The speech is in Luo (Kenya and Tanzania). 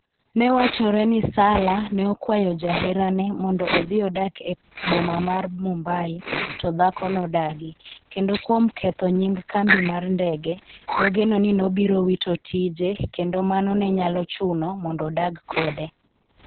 Ne wachore ni Salla ne okwayo jaherane mondo odhi odak e boma mar Mumbai to dhako nodagi, kendo kuom ketho nying kambi mar ndege, nogeno ni nobiro wito tije kendo mano ne nyalo chuno mondo odag kode.